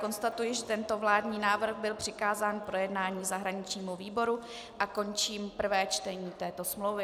Konstatuji, že tento vládní návrh byl přikázán k projednání zahraničnímu výboru, a končím prvé čtení této smlouvy.